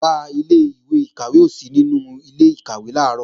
Ọ̀gá ilé-ìkàwé ò sí nínú ilé-ìkàwé làárọ̀